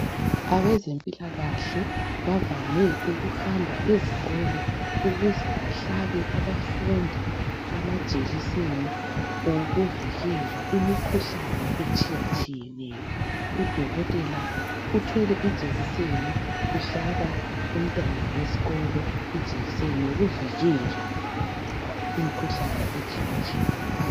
Abezempilakahle bavame ukuhamba ezikolo ukuze bahlabe abafundi amajekiseni okuvikela imikhuhlane etshiyatshiyeneyo. Udokotela uthwele ijekiseni, uhlaba umntwana wesikolo ijekiseni yokuvikela imikhuhlane etshiyatshiyeneyo